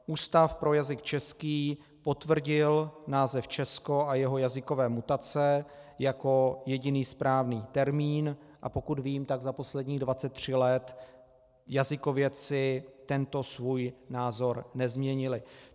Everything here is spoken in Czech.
Ústav pro jazyk český potvrdil název Česko a jeho jazykové mutace jako jediný správný termín, a pokud vím, tak za posledních 23 let jazykovědci tento svůj názor nezměnili.